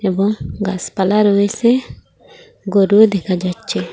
এবং গাছপালা রয়েছে গরুও দেখা যাচ্ছে।